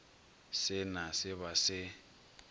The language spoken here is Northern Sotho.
se na se ba se